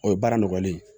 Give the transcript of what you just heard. O ye baara nɔgɔlen ye